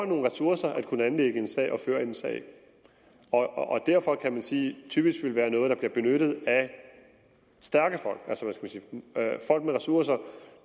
nogle ressourcer at kunne anlægge en sag og at kunne føre en sag og derfor kan man sige at det typisk vil være noget der bliver benyttet af stærke folk folk med ressourcer